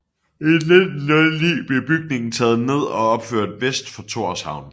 I 1909 blev bygningen taget ned og opført vest for Tórshavn